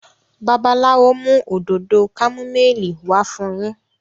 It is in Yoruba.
Babalawo mú Òdòdó kámúmáìlì wá fún yín.